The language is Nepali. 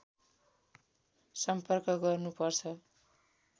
सम्पर्क गर्नुपर्छ